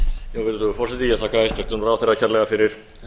virðulegur forseti ég þakka hæstvirtum ráðherra kærlega fyrir